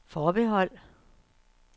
forbehold